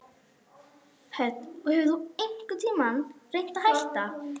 Hödd: Og hefur þú einhvern tímann reynt að hætta?